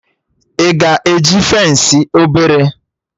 Ị ga eji fensị obere?